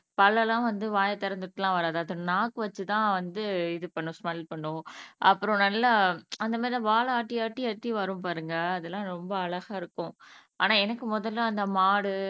பல்லெல்லாம் வந்து வாயத்திறந்துட்டே எல்லாம் வராது அது நாக்கு வச்சு தான் வந்து இது பண்ணும் ஸ்மெல் பண்ணும் அப்புறம் நல்லா அந்த மாதிரி தான் வாலை ஆட்டி ஆட்டி ஆட்டி வரும் பாருங்க அது எல்லாம் ரொம்ப அழகா இருக்கும் ஆனா எனக்கு முதல்ல அந்த மாடு